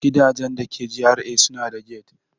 Gidajen da ke GRA suna da gate.